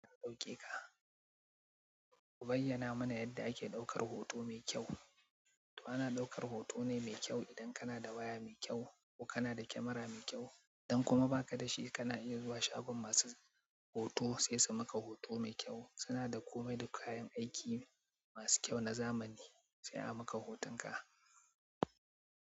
Okay ku bayyana mana yadda ake ɗaukar hoto me kyau to ana ɗaukar hoto ne mai kyau idan kana da waya mai kyau ko kana da camera mai kyau. Idan kuma ba ka da shi kana iya zuwa shagon masu hoto sai su maka hoto mai kyau. Suna da komai da kayan aiki masu kyau na zamani, sai a maka hotonka.